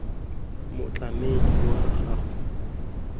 motlamedi wa gago wa selegae